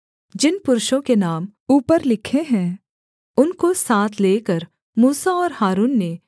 जिन पुरुषों के नाम ऊपर लिखे हैं उनको साथ लेकर मूसा और हारून ने